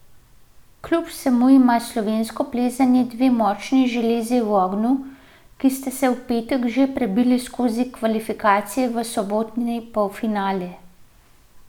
Kljub vsemu ima slovensko plezanje dve močni železi v ognju, ki sta se v petek že prebili skozi kvalifikacije v sobotni polfinale.